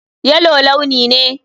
Yellow launi ne.